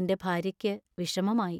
എന്‍റെ ഭാര്യയ്ക്ക് വിഷമമായി.